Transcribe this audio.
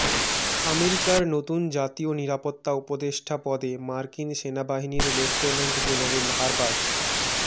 আমেরিকার নতুন জাতীয় নিরাপত্তা উপদেষ্টা পদে মার্কিন সেনাবাহিনীর লেফটেন্যান্ট জেনারেল হারবার্ট